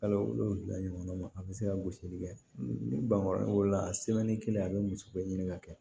Kalo wolonfila ɲɔgɔn ma a bɛ se ka gosili kɛ ni bangekɔlɔ wolola kelen a bɛ muso bɛɛ ɲini ka kɛ